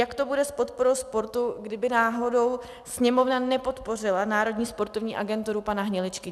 Jak to bude s podporou sportu, kdyby náhodou Sněmovna nepodpořila Národní sportovní agenturu pana Hniličky.